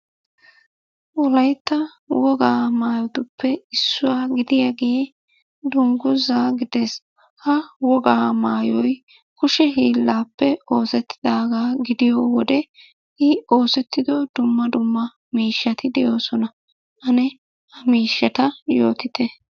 Wolaytta woga maayotuppe issuwaa gidiyagee dungguzaa gides. Ha wogaa maayoyi kushe hiillaappe oosettidaagaa gidiyo wode I oosettido dumma dumma miishshati de'oosona. Ane ha miishshata yootite?